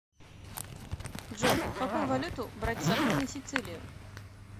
джой какую валюту брать с собой на сицилиию